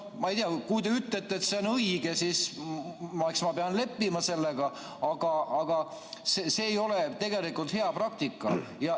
Ma ei tea, kui te ütlete, et see on õige, siis eks ma pean leppima sellega, aga see ei ole tegelikult hea praktika.